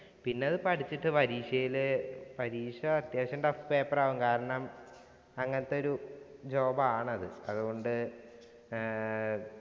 പിന്നത് പഠിച്ചിട്ട് പരീക്ഷയിൽ പരീക്ഷ അത്യാവശ്യം tough paper ആവും. കാരണം, അങ്ങനത്തെ ഒരു job ആണത്. അതുകൊണ്ട് ഏർ